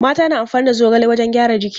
Mata na amfani da zogale wajen gyaran jiki.